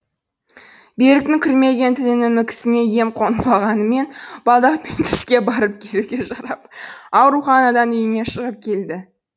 беріктің күрмелген тілінің мүкісіне ем қонбағанымен балдақпен түзге барып келуге жарап ауруханадан үйіне шығып келді